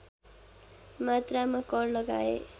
मात्रामा कर लगाए